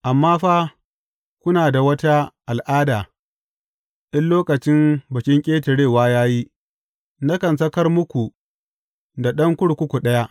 Amma fa kuna da wata al’ada in lokacin Bikin Ƙetarewa ya yi, nakan sakar muku da ɗan kurkuku ɗaya.